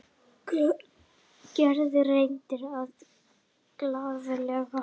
Gerður reyndi að vera glaðleg.